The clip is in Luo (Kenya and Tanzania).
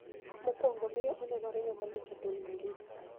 mokwongo miyo onenore ng'ama lich e piny mangima.